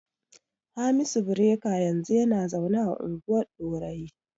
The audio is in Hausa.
Hamisu Bireka yanzu yana zaune a unguwar Ɗorayi.